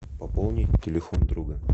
пополнить телефон друга